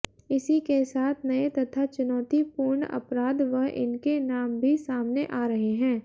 इसी के साथ नए तथा चुनौतीपूर्ण अपराध व इनके नाम भी सामने आ रहे हैं